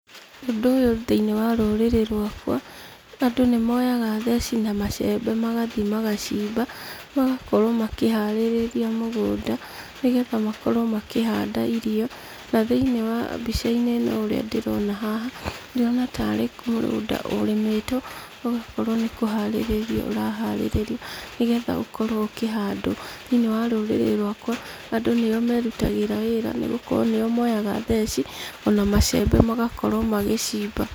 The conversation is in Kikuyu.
Ũndũ ũyũ thĩiniĩ wa rũrĩrĩ rwakwa, andũ nĩ moyaga theci na macembe magathi magacimba. Magakorwo makĩharĩrĩria mũgũnda, nĩgetha makorwo makĩhanda irio, na thĩiniĩ wa mbica-inĩ ĩno ũrĩa ndĩrona haha, ndĩrona tarĩ mũgũnda ũrĩmĩtwo ũgakorwo nĩ kũharĩrĩrio ũraharĩrĩrio nĩgetha ũkorwo ũkĩhandwo. Thĩiniĩ wa rũrĩrĩ rwakwa, andũ nĩo merutagrĩa wĩra, nĩgũkorwo nĩo moyaga theci, ona macembe magakorwo magĩcimba.